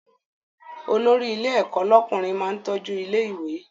Olórí ilé ẹ̀kọ́ lọ́kùnrin máa ń tọ́jú ilé ìwé